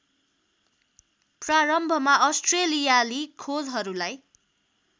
प्रारम्भमा अस्ट्रेलियाली खोजहरूलाई